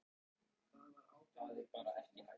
Slær sér á lær.